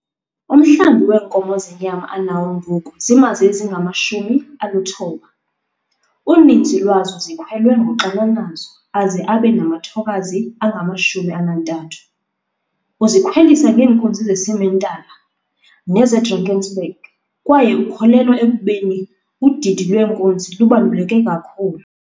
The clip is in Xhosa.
Umhlambi weenkomo zenyama anawo ngoku ziimazi ezingama-90, uninzi lwazo zikhwelwe ngoxananazo aze abe namathokazi angama-30. Uzikhwelisa ngeenkunzi ze-Simentaler neze-Drakensberg kwaye ukholelwa ekubeni udidi lwenkunzi lubaluleke kakhulu.